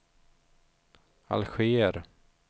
Alger